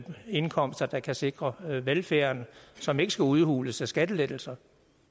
indkomster der kan sikre velfærden som ikke skal udhules af skattelettelser